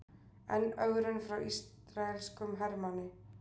Enn ögrun frá ísraelskum hermanni